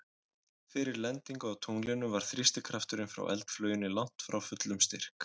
Fyrir lendingu á tunglinu var þrýstikrafturinn frá eldflauginni langt frá fullum styrk.